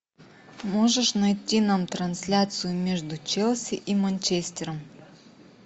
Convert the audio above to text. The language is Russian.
можешь найти нам трансляцию между челси и манчестером